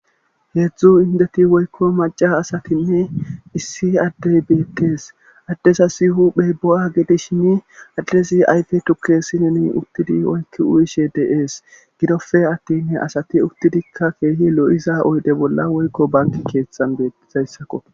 heedzdzu indeti woykko maca asatinne issi addey beetees addezasi huphey bo'a gedi shini addezi ayfe tukke sineni uttidi oykki uyishe de'ees gidofe attinne asati uttidikka keehi lo'iza oyde bolla woykko banki keeththan be'izayssakko